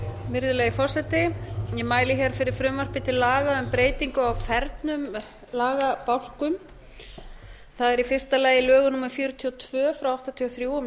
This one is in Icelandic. virðulegi forseti ég mæli hér fyrir frumvarpi til breytingu á fernum lagabálkum það er í fyrsta lagi lögum númer fjörutíu og tvö nítján hundruð áttatíu og þrjú um